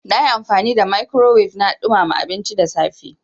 Na yi amfani da microwave na ɗumama abinci da safe.